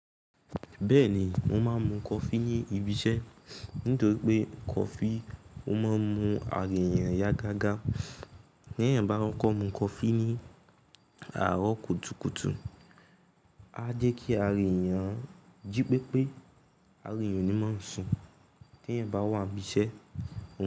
Bẹ́ẹ̀ni, mo máa ń mu coffee ní ibi iṣẹ́ nítorí pé coffee ó máa ń mu ara èèyàn yá gágá. Bí èèyàn bá kọ́ mú coffee ní àárọ̀ kùtùkùtù, á jẹ́ kí ara èèyàn jí pépé ara èèyàn ò ní máa sùn tí èèyàn bá wà nibi iṣẹ́.